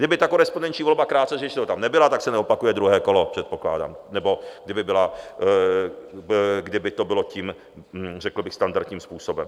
Kdyby ta korespondenční volba, krátce řečeno, tam nebyla, tak se neopakuje druhé kolo, předpokládám, nebo kdyby to bylo tím řekl bych standardním způsobem.